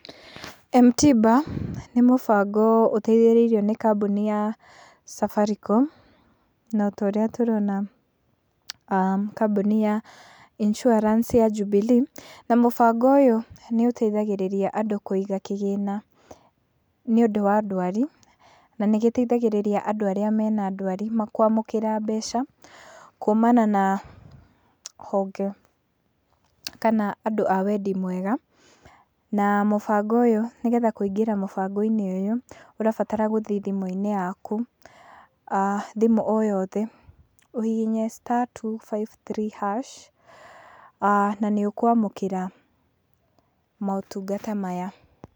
M-tiba nĩ mũbango ũteithĩrĩirio nĩ kambũni ya Safaricom, na ta ũrĩa tũrona a kambũni ya insurance ya Jubilee , na mũbango ũyũ nĩ ũteithagĩrĩria andũ kũiga kĩgĩna nĩ ũndũ wa ndwari, na nĩgĩteithagĩrĩria andũ arĩa mena ndwari kwamũkĩra mbeca kumana na honge kana andũ a wendi mwega, na mũbango ũyũ nĩgetha kũingĩra mũbango ũyũ, ũrabatara gũthiĩ thimũ-inĩ yaku a thimũ o yothe ũhihinye star, two, five, three, hash , a na nĩ ũkwamũkĩra motungata maya.